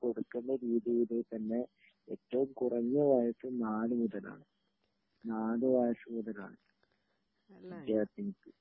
കൊടുക്കണ്ട രീതിയില് തന്നെ ഏറ്റവും കുറഞ്ഞ വയസ്സ് നാല് മുതലാണ് നാല് വയസ്സ് മുതലാണ് വിദ്യാർഥിനിക്ക്